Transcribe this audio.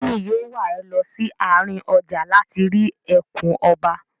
Mọ́mì yóò wà ẹ lọ sí àárín ọjà láti rí ẹkùn ọba.